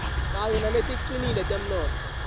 kanye naleticinile temnotfo